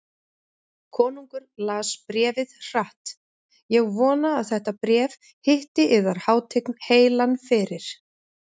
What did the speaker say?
Konungur las bréfið hratt: Ég vona að þetta bréf hitti yðar hátign heilan fyrir.